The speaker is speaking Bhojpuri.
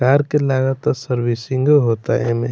कार के लागाता सर्विसिंग होअता एमें।